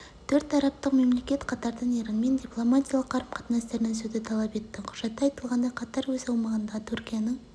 төрт арабтық мемлекет қатардан иранмен дипломатиялық қарым-қатыстарын үзуді талап етті құжатта айтылғандай қатар өз аумағындағы түркияның